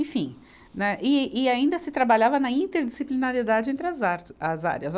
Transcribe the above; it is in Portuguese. Enfim, né, e e ainda se trabalhava na interdisciplinaridade entre as artes, as áreas.